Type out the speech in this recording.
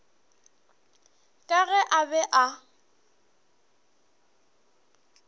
ka ge a be a